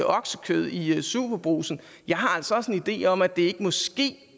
oksekød i superbrugsen jeg har altså også en idé om at det måske